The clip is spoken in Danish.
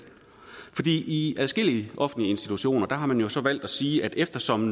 i i adskillige offentlige institutioner har man så valgt at sige at eftersom